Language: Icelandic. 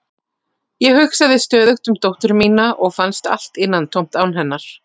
Ég hugsaði stöðugt um dóttur mína og fannst allt innantómt án hennar.